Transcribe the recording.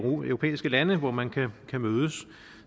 europæiske lande hvor man kan mødes